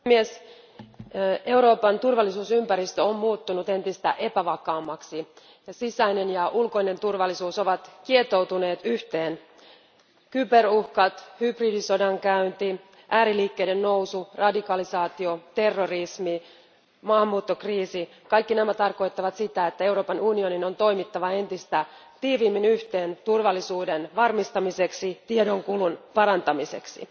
Arvoisa puhemies, Euroopan turvallisuusympäristö on muuttunut entistä epävakaammaksi. Sisäinen ja ulkoinen turvallisuus ovat kietoutuneet yhteen. Cyberuhkat, hybridisodan käynti, ääriliikkeiden nousu, radikalisaatio, terrorismi, maahanmuuttokriisi, kaikki nämä tarkoittavat sitä, että Euroopan unionin on toimittava entistä tiiviimmin yhteen turvallisuuden varmistamiseksi ja tiedonkulun parantamiseksi.